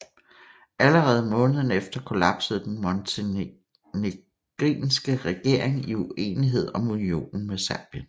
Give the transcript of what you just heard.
Allerede måneden efter kollapsede den montenegrinske regering i uenighed om unionen med Serbien